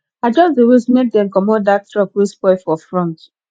i just dey wait make dem comot dat truck wey spoil for front